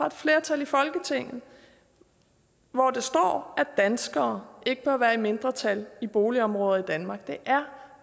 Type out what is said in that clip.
et flertal i folketinget hvor der står at danskere ikke bør være i mindretal i boligområder i danmark det er